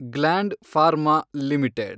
gland Pharma limited